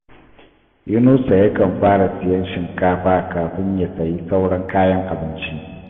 Yunusa yakan fara siyan shinkafa kafin ya sayi sauran kayan abinci